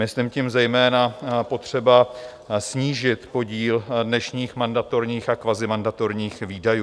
Myslím tím zejména potřebu snížit podíl dnešních mandatorních a kvazimandatorních výdajů.